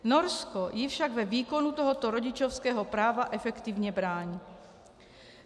Norsko jí však ve výkonu tohoto rodičovského práva efektivně brání.